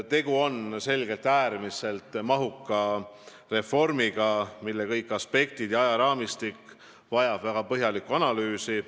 Tegu on äärmiselt mahuka reformiga, mille kõik aspektid ja ajaraamistik vajab väga põhjalikku analüüsi.